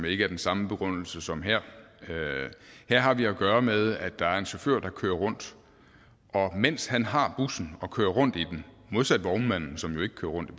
ikke er den samme begrundelse som her her har vi at gøre med at der er en chauffør der kører rundt og mens han har bussen og kører rundt i den modsat vognmanden som jo ikke kører rundt i